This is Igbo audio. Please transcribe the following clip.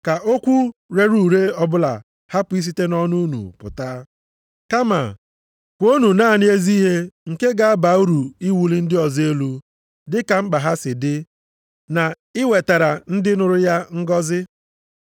Ka okwu rere ure ọbụla hapụ isite nʼọnụ unu pụta. Kama kwuonụ naanị ezi ihe nke ga-aba uru iwuli ndị ọzọ elu dịka mkpa ha si dị na iwetara ndị nụrụ ya ngọzị.